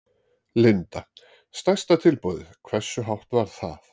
Linda: Stærsta tilboðið, hversu hátt var það?